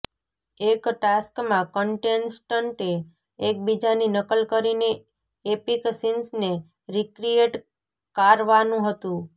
એક ટાસ્કમાં કન્ટેસ્ટન્ટે એકબીજાની નકલ કરીને એપિક સીન્સને રીક્રીએટ કારવાનું હતું